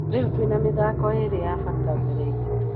Rĩu twĩna mĩthako ĩrĩ ya bata mbere itũ